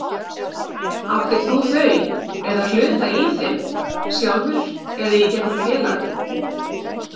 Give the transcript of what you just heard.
Áttir þú þau eða hluta í þeim, sjálfur eða í gegnum félag?